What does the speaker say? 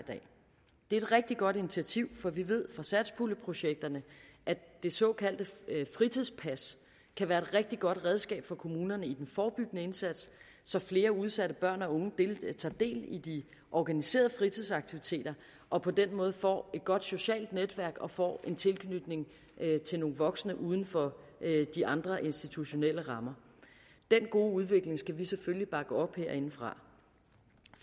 et rigtig godt initiativ for vi ved fra satspuljeprojekterne at det såkaldte fritidspas kan være et rigtig godt redskab for kommunerne i den forebyggende indsats så flere udsatte børn og unge tager del i de organiserede fritidsaktiviteter og på den måde får et godt socialt netværk og får en tilknytning til nogle voksne uden for de andre institutionelle rammer den gode udvikling skal vi selvfølgelig bakke op herindefra